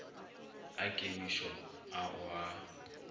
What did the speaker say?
a kemišo a o a